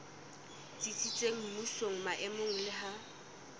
tsitsitseng mmusong maemong le ha